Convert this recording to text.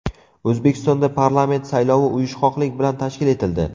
O‘zbekistonda parlament saylovi uyushqoqlik bilan tashkil etildi.